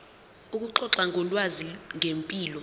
ukuxoxa ngolwazi ngempilo